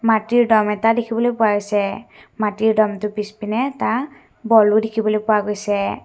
মাটিৰ দম এটা দেখিবলৈ পোৱা গৈছে মাটিৰ দমটোৰ পিছপিনে এটা বলো দেখিবলৈ পোৱা গৈছে।